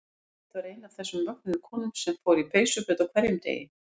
Elsabet var ein af þessum mögnuðu konum sem fór í peysuföt á hverjum degi.